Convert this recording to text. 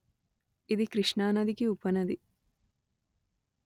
ఇది కృష్ణానదికి ఉపనది